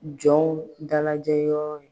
Jɔn dalajɛyɔrɔ.